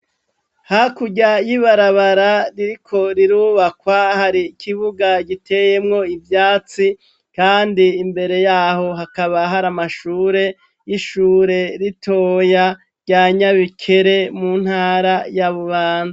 hakurya y'ibarabara ririko rirubakwa, hari ikibuga giteyemwo ivyatsi, kandi imbere yaho hakaba hari amashure y'ishure ritoya rya nyabikere mu ntara ya bubanza.